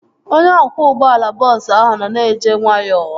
Onye ọkwọ ụgbọala bọọsu ahụ nọ na-eje nwayọọ